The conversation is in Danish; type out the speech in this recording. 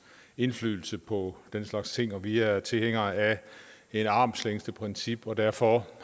indflydelse på den slags ting vi er tilhængere af et armslængdeprincip og derfor